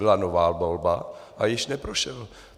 Byla nová volba a již neprošel.